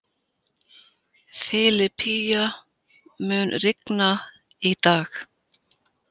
Filipía, mun rigna í dag?